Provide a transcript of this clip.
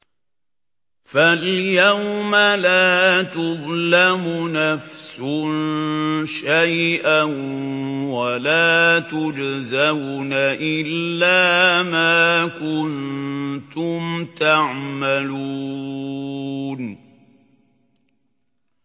فَالْيَوْمَ لَا تُظْلَمُ نَفْسٌ شَيْئًا وَلَا تُجْزَوْنَ إِلَّا مَا كُنتُمْ تَعْمَلُونَ